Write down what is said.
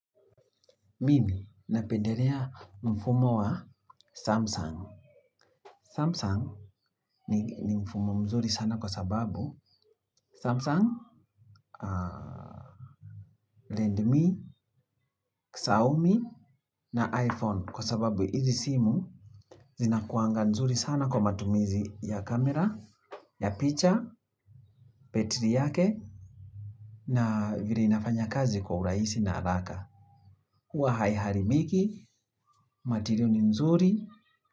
Mimi napenderea mfumo wa Samsung. Samsung ni mfumo mzuri sana kwa sababu Samsung, Landme, Xiaomi na iPhone kwa sababu hizi simu zina kuanga mzuri sana kwa matumizi ya kamera, ya picture, petri yake na vile inafanya kazi kwa uraisi na halaka. Huwa haiharibiki material ni nzuri.